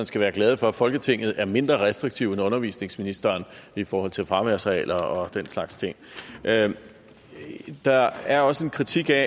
skal være glad for at folketinget er mindre restriktivt end undervisningsministeren i forhold til fraværsregler og den slags ting der er der er også en kritik af